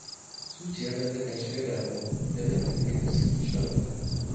Zuciyata takan shiga damuwa idan na kalli yadda suke shan wahala